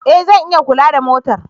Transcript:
E! Zan iya kula da motar.